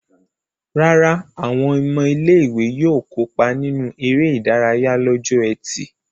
Rárá, àwọn ọmọ ilé-ìwé yóò kópa nínú eré-idárayá lọ́jọ́ ẹtì.